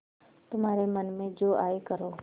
तुम्हारे मन में जो आये करो